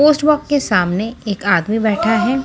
Post के सामने एक आदमी बैठा है।